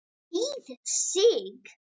Þýð. Sig.